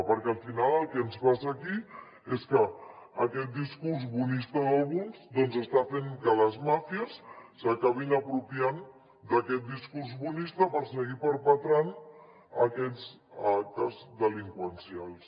perquè al final el que ens passa aquí és que aquest discurs bonista d’alguns doncs està fent que les màfies s’acabin apropiant d’aquest discurs bonista per seguir perpetrant aquests actes delinqüencials